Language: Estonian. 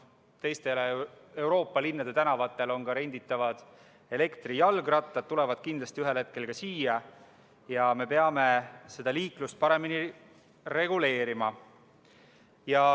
Teiste Euroopa linnade tänavatel on ka renditavad elektrijalgrattad, need tulevad kindlasti ühel hetkel siiagi ja me peame liiklust paremini reguleerima.